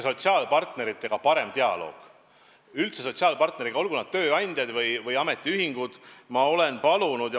Sotsiaalpartneritega, olgu nad tööandjad või ametiühingud, on meil parem dialoog.